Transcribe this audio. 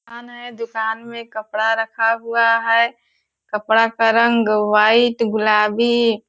दुकान है दुकान में कपड़ा रखा हुआ है कपड़ा का रंग वाइट गुलाबी --